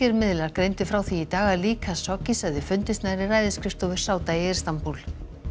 miðlar greindu frá því í dag að lík Khashoggis hefði fundist nærri ræðisskrifstofu Sáda í Istanbúl